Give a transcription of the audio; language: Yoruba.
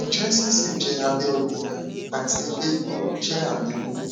njẹ siseje abẹ obinrin ati igbe gbuuru jẹ ami oyun